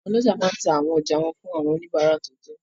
Àwọn ọlọ́jà máa n ta àwọn ọjà wọn fún àwọn oníbàárà tó tọ́